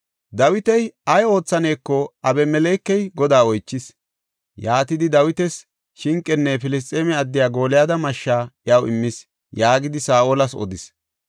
Dawiti ay oothaneko Abimelekey Godaa oychis; yaatidi Dawitas shinqenne Filisxeeme addiya Gooliyada mashshaa iyaw immis” yaagidi Saa7olas odis.